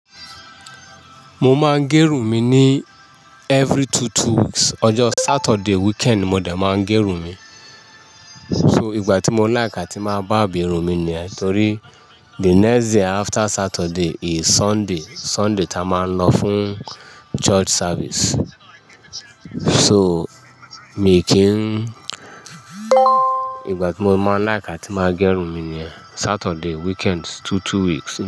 Mo máa ń gẹrun mi ní every two-two weeks. Ọjọ́ Saturday weekend ni mo dẹ̀ máa ń gẹrun mi. So ìgbà tí mo láìkà tí máa bá bi irun mi ni, torí the next day after Saturday is Sunday. Sunday ta máa ń lọ fún church service. So mi kì ń ìgbà tí mo máa ń láìkà tí máa gẹrun mi ni Saturday weekend two-two weeks.